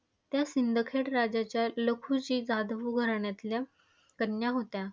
त्या सिंदखेड राजाच्या लखुजी जाधव घराण्यातल्या कन्या होत्या.